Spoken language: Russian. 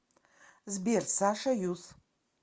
сбер саша юс